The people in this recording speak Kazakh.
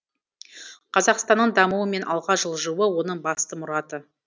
қазақстанның дамуы мен алға жылжуы оның басты мұраты